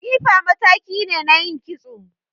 Tsifa mataki ne na yin kitso